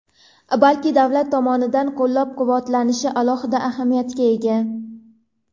balki davlat tomonidan qo‘llab-quvvatlanishi alohida ahamiyatga ega.